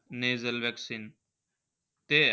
Nasal vaccine ते